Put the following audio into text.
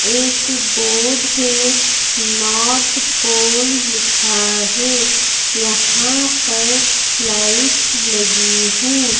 एक बोर्ड है north pole लिखा है यहाँ पर लाइट्स लगी है।